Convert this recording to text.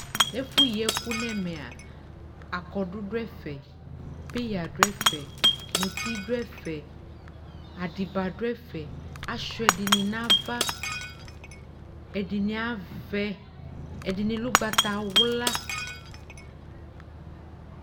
Ɛfʋyiɛkʋ n'ɛmɛa, akɔdʋ dʋɛfɛ, peyǝ dʋɛfɛ, muti dʋɛfɛ, adɩba dʋɛfɛ, asʋia ɛdɩnɩ n'ava Ɛdɩnɩ avɛ, ɛdɩnɩ lɛ ʋgbatawla